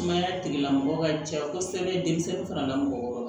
Sumaya tigilamɔgɔ ka jan kosɛbɛ denmisɛnnin fana la mɔgɔ